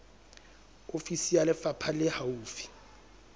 ofisi ya lefapha le haufi